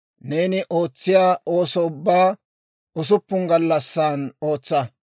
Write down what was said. Neeni ootsiyaa ooso ubbaa usuppun gallassan ootsa.